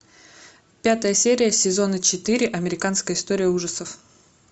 пятая серия сезона четыре американская история ужасов